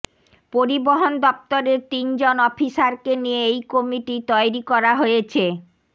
পরিবহণ দফতরের তিনজন অফিসারকে নিয়ে এই কমিটি তৈরি করা হয়েছে